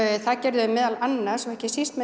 það gerðu þeir meðal annars og ekki síst með